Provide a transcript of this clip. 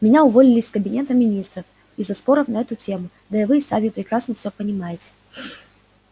меня уволили из кабинета министров из-за споров на эту тему да и вы сами прекрасно всё понимаете